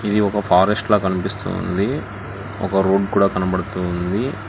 ఇది ఒక ఫారెస్ట్ లా కనిపిస్తూ ఉంది ఒక రోడ్ కూడా కనబడుతూ ఉంది.